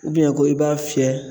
ko i b'a fiyɛ